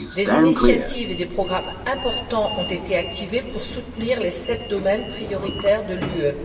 Des initiatives et des programmes importants ont été activés pour soutenir les sept domaines prioritaires de l'UE.